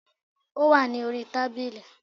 Ó wà ní orí tábìlì